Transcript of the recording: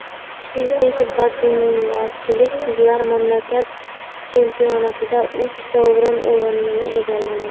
Toshkentlik badmintonchi qizlar mamlakat chempionatida uch sovrinli o‘rinni egalladi.